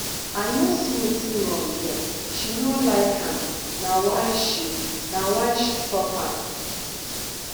i no see wetin wrong here she no like am na why she na why she stop am